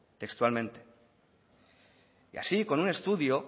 textualmente y así con un estudio